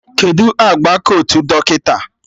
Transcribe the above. Kedụ agba kotu dọkịta?